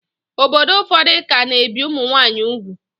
Obodo ụfọdụ ka na-ebi ụmụnwaanyị ugwu